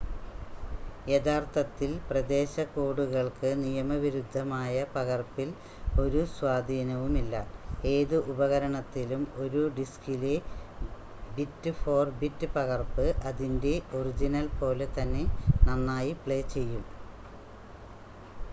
യഥാർത്ഥത്തിൽ പ്രദേശ കോഡുകൾക്ക് നിയമവിരുദ്ധമായ പകർപ്പിൽ ഒരു സ്വാധീനവുമില്ല ഏത് ഉപകരണത്തിലും ഒരു ഡിസ്കിലെ ബിറ്റ്-ഫോർ-ബിറ്റ് പകർപ്പ് അതിൻ്റെ ഒറിജിനൽ പോലെ തന്നെ നന്നായി പ്ലേ ചെയ്യും